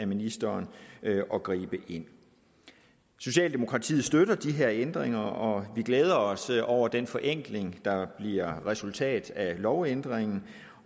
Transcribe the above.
ministeren at gribe ind socialdemokratiet støtter de her ændringer og vi glæder os over den forenkling der bliver resultatet af lovændringen